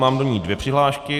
Mám do ní dvě přihlášky.